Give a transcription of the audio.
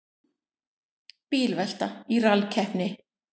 Bílvelta í rallkeppni